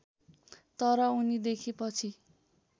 तर उनीदेखि पछि